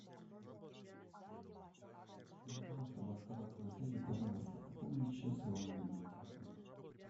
для того чтобы оставаться на связи пожалуйста пополните счет своего мобильного телефона